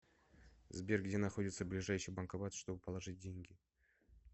сбер где находится ближайший банкомат чтобы положить деньги